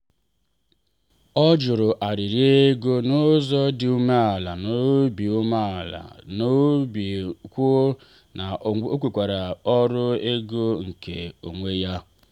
ọ jụrụ arịrị ego n’ụzọ dị umeala n’obi umeala n’obi kwuo na o nwekwara ọrụ ego nke onwe ya.